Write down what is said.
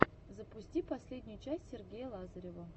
запусти последнюю часть сергея лазарева